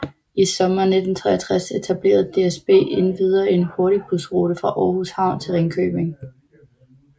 I sommeren 1963 etablerede DSB endvidere en hurtigbusrute fra Aarhus Havn til Ringkøbing